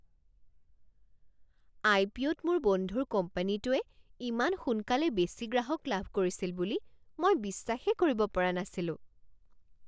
আই P অ'ত মোৰ বন্ধুৰ কোম্পানীটোৱে ইমান সোনকালে বেছি গ্ৰাহক লাভ কৰিছিল বুলি মই বিশ্বাসেই কৰিব পৰা নাছিলো।